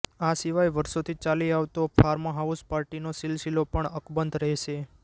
આ સિવાય વર્ષોથી ચાલી આવતો ફાર્મહાઉસ પાર્ટીનો સિલસિલો પણ અકબંધ રહેશે